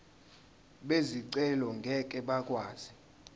bezicelo ngeke bakwazi